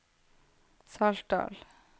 Saltdal